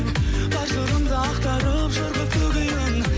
бар сырымды ақтарып жыр қып төгейін